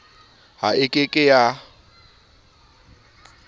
ha e ke ke ya